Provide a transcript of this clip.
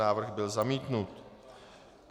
Návrh byl zamítnut.